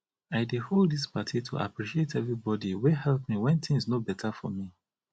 i dey hold dis party to appreciate everybody wey help me wen things no beta for me